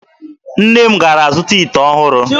Nne m gara zụta ite ọhụrụ.